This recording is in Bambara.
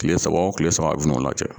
Kile saba o kile saba a bɛ n'o lajɛ.